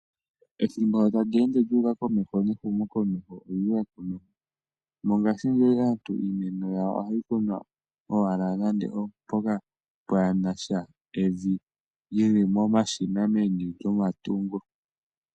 Ethimbo shi ta li ende lyu uka komeho nehumokomeho olyu uka komeho. Mongashingeyi aantu iimeno yawo ohayi kunwa owala nando oompoka pwaa na sha evi yi li momashina meni lyomatungo.